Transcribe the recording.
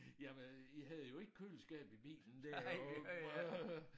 Jamen I havde jo ikke køleskab i bilen det øh